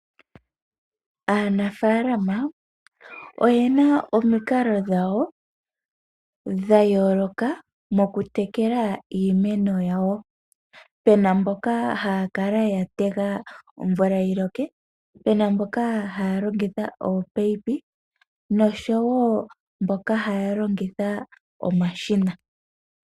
Aanafalama oyena omikalo dhawo dhayoloka mokutekela iimeno yawo pena mboka haya kala yatega omvula yilok, pena mboka haya longitha opayipi noshowo mboka haya longitha omashina.